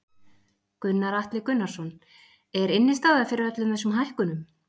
Gunnar Atli Gunnarsson: Er innistæða fyrir öllum þessum hækkunum?